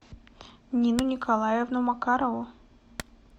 нину николаевну макарову